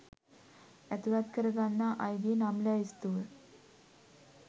ඇතුලත් කරගන්නා අයගේ නම් ලැයිස්තුව